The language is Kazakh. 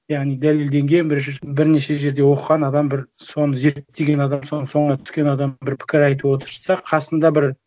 яғни дәлелденген бірнеше жерде оқыған адам бір соны зерттеген адам соның соңына түскен адам бір пікір айтып отырса қасында бір